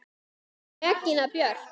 Regína Björk!